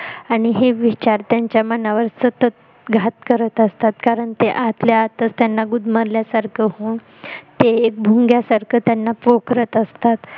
आणि हे विचार त्यांच्या मनावर सतत घात करत असतात कारण ते आतल्या आतच त्यांना गुदमरल्या सारखं होऊन ते भुंग्यानसारख त्यांना पोखरत असतात